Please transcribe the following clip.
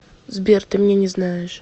сбер ты меня не знаешь